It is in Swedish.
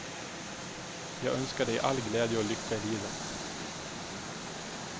Jag önskar dig all glädje och lycka i livet.